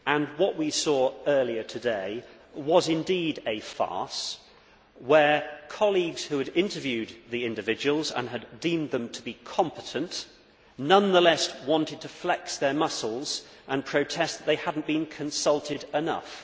What we saw earlier today was indeed a farce, where colleagues who had interviewed the individuals and deemed them to be competent nonetheless wanted to flex their muscles and protest that they had not been consulted enough.